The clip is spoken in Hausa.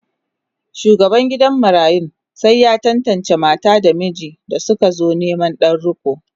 shugaban gidan marayun sai ya tantance mata da miji da sukazo Neman Dan riko